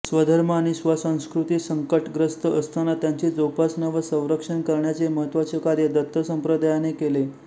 स्वधर्म आणि स्वसंस्कृती संकटग्रस्त असताना त्यांची जोपासना व संरक्षण करण्याचे महत्त्वाचे कार्य दत्त संप्रदायाने केले